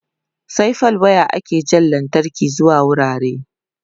sai da fal wire ake Jan lantarki zuwa wurare